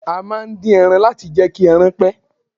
A máà ń din ẹran láti jẹ́ kí ẹran pẹ́.